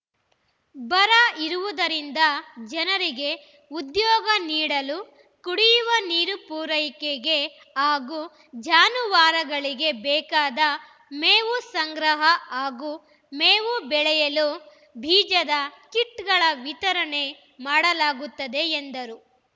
ಬರ ಇರುವುದರಿಂದ ಜನರಿಗೆ ಉದ್ಯೋಗ ನೀಡಲು ಕುಡಿಯುವ ನೀರು ಪೂರೈಕೆಗೆ ಹಾಗೂ ಜಾನುವಾರುಗಳಿಗೆ ಬೇಕಾದ ಮೇವು ಸಂಗ್ರಹ ಹಾಗೂ ಮೇವು ಬೆಳೆಯಲು ಬೀಜದ ಕಿಟ್‌ಗಳ ವಿತರಣೆ ಮಾಡಲಾಗುತ್ತದೆ ಎಂದರು